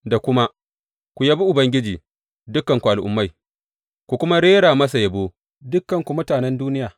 Da kuma, Ku yabi Ubangiji, dukanku Al’ummai, ku kuma rera masa yabo, dukanku mutanen duniya.